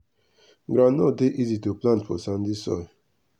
groundnut dey easy to plant for sandy soil.